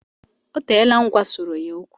O teela m gwasọrọ ya okwu